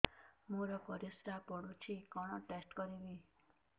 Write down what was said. ମୋର ପରିସ୍ରା ପୋଡୁଛି କଣ ଟେଷ୍ଟ କରିବି